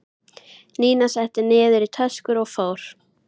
Nína setti niður í töskur og fór.